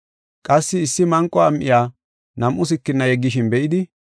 Qassi issi manqo am7iya nam7u sikina yeggishin be7idi,